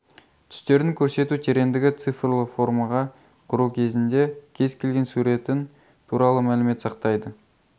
түстердің көрсету тереңдігі цифрлы формаға құру кезінде кез-келген суретін туралы мәлімет сақтайды